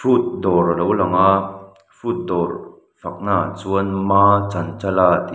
fruit dawr a lo lang a fruit dawr faknaah chuan maa chanchala tih --